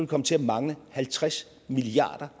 komme til at mangle halvtreds milliard